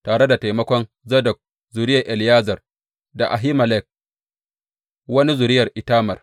Tare da taimakon Zadok zuriyar Eleyazar da Ahimelek wani zuriyar Itamar.